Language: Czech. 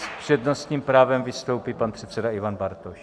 S přednostním právem vystoupí pan předseda Ivan Bartoš.